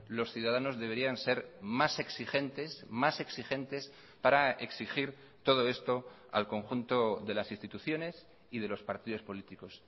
los ciudadanos deberían ser más exigentes más exigentes para exigir todo esto al conjunto de las instituciones y de los partidos políticos